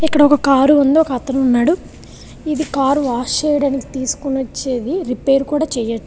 Kadapa car ఉంది. ఒక అతను ఉన్నాడు. కారు వాష్ చేయడానికి తీసుకొని వచ్చేది రిపేరు కూడా చేయొచ్చు .